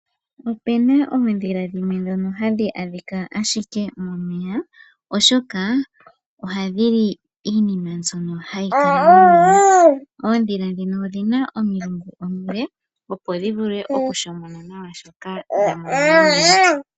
Opena oodhila dhimwe dhono hadhi adhika ashike momeya oshoka ohadhi li iinima mbyono hayi kala momeya. Oodhila dhino odhina omilungu omile opo dhi vule okushomona nawa shoka dha mono momeya.